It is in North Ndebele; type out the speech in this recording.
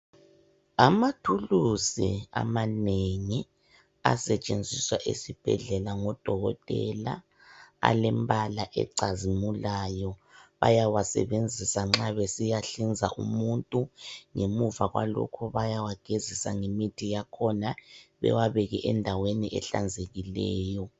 Amathulusi amanengi asetshenziswa esibhedlela ngodokotela alembala ecazimulayo. Bayawasebenzisa nxa besiya hlinza umuntu ngemuva kwalokho bayawagezisa ngemithi yakhona bewabeke endaweni ehlanzekileyo.